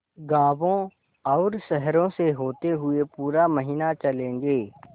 गाँवों और शहरों से होते हुए पूरा महीना चलेंगे